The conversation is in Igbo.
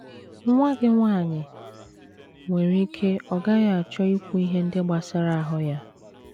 Nwa gị nwanyị nwere ike ọ gaghị achọ ikwu ihe ndị gbasara ahụ́ ya